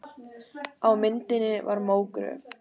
Á myndinni var mógröf.